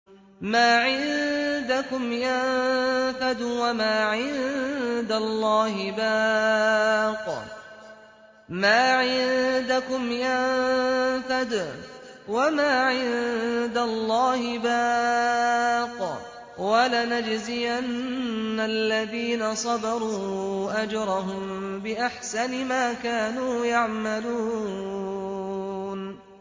مَا عِندَكُمْ يَنفَدُ ۖ وَمَا عِندَ اللَّهِ بَاقٍ ۗ وَلَنَجْزِيَنَّ الَّذِينَ صَبَرُوا أَجْرَهُم بِأَحْسَنِ مَا كَانُوا يَعْمَلُونَ